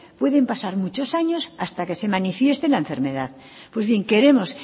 pueden pasar muchos años hasta que se manifieste la enfermedad pues bien queremos